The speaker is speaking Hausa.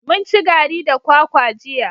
Mun ci gari da kwakwa jiya.